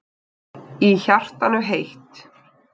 Í hjartanu heitt.